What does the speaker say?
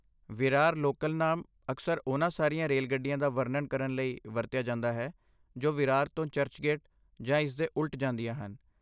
Virar local ਨਾਮ ਅਕਸਰ ਉਹਨਾਂ ਸਾਰੀਆਂ ਰੇਲਗੱਡੀਆਂ ਦਾ ਵਰਣਨ ਕਰਨ ਲਈ ਵਰਤਿਆ ਜਾਂਦਾ ਹੈ ਜੋ ਵਿਰਾਰ ਤੋਂ ਚਰਚਗੇਟ ਜਾਂ ਇਸ ਦੇ ਉਲਟ ਜਾਂਦੀਆਂ ਹਨ।